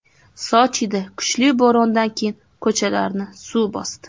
Sochida kuchli bo‘rondan keyin ko‘chalarni suv bosdi.